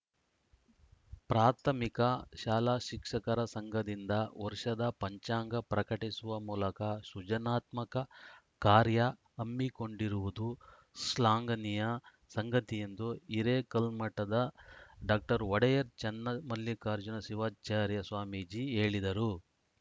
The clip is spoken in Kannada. ಪ್ರಾಥಮಿಕ ಶಾಲಾ ಶಿಕ್ಷಕರ ಸಂಘದಿಂದ ವರ್ಷದ ಪಂಚಾಂಗ ಪ್ರಕಟಿಸುವ ಮೂಲಕ ಸೃಜನಾತ್ಮಕ ಕಾರ್ಯ ಹಮ್ಮಿಕೊಂಡಿರುವುದು ಶ್ಲಾನ್ಗನಿಯ ಸಂಗತಿ ಎಂದು ಹಿರೇಕಲ್ಮಠದ ಡಾಕ್ಟರ್ ಒಡೆಯರ್‌ ಚನ್ನಮಲ್ಲಿಕಾರ್ಜುನ ಶಿವಾಚಾರ್ಯ ಸ್ವಾಮೀಜಿ ಹೇಳಿದರು